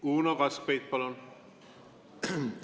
Uno Kaskpeit, palun!